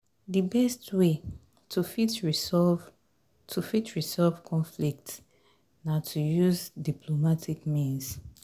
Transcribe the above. di best way to fit resolve to fit resolve conflict na to use diplomatic means